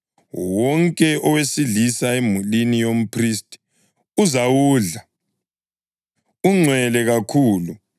Wonke owesilisa emulini yomphristi uzawudla, ungcwele kakhulu.